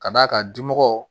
Ka d'a kan dimɔgɔ